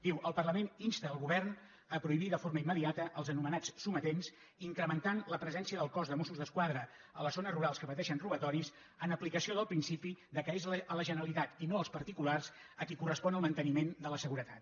diu el parlament insta el govern a prohibir de forma immediata els anomenats sometents incrementant la presència del cos de mossos d’esquadra a les zones rurals que pateixen robatoris en aplicació del principi que és a la generalitat i no als particulars a qui correspon el manteniment de la seguretat